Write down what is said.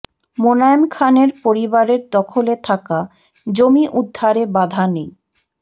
মোনায়েম খানের পরিবারের দখলে থাকা জমি উদ্ধারে বাধা নেই